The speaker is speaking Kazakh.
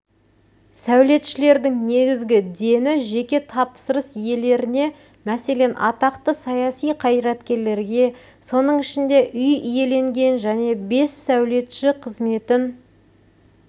сәулетшілердің негізгі дені жеке тапсырыс иелеріне мәселен атақты саяси қайраткерлерге соның ішінде үй иеленген және бес сәулетші қызметін